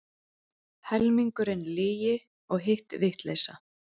Helmingurinn lygi og hitt vitleysa.